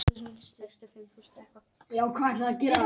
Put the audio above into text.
Helenu í Suður-Atlantshafi þar sem hann eyddi síðustu árum ævi sinnar.